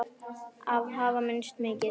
Þær hafa misst mikið.